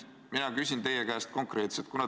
Mina küsin teie käest konkreetselt.